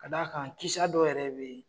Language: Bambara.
Ka' da kan kisa dɔw yɛrɛ bɛ yen.